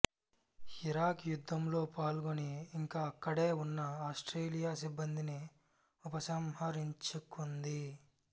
Iraq యుద్ధంలో పాల్గొని ఇంకా అక్కడే ఉన్న ఆస్ట్రేలియా సిబ్బందిని ఉపసంహరించుకుంది